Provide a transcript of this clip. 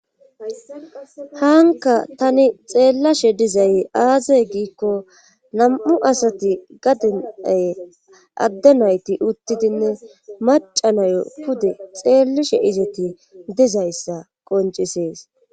hanka tani xeellashe dizay aazey giikko nam7u asati gadinay adde nayti uttidinne macanayo pude xeellishe izeti dizayssa qoncisees